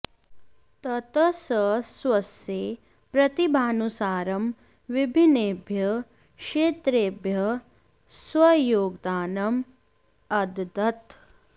ततः सः स्वस्य प्रतिभानुसारं विभिन्नेभ्यः क्षेत्रेभ्यः स्वयोगदानम् अददत्